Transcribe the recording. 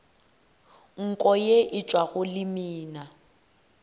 nko ye e tšwago lemina